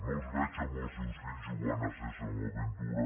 no els veig amb els seus fills jugant a sésamo aventura